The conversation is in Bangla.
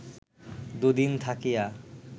দুদিন থাকিয়া